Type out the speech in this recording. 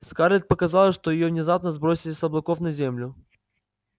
скарлетт показалось что её внезапно сбросили с облаков на землю